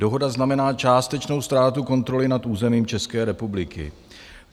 Dohoda znamená částečnou ztrátu kontroly nad územím České republiky.